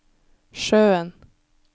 sjøen